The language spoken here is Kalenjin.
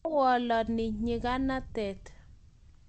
tawalani nyikanatet